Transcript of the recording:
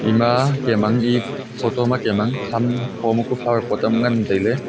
ima kam ang e photo ma kam ang hum tho uam flower pot uam nganley tailey.